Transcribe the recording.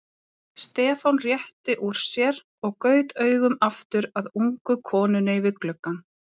Stefán rétti úr sér og gaut augum aftur að ungu konunni við gluggann.